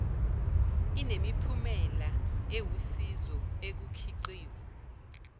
inemiphumela ewusizo ekukhiqiz